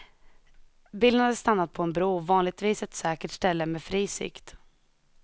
Bilen hade stannat på en bro, vanligtvis ett säkert ställe med fri sikt.